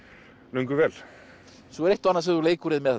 lengi vel svo er eitt og annað sem þú leikur þér með